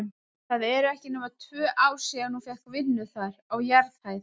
Það eru ekki nema tvö ár síðan hún fékk vinnu þar, á jarðhæð.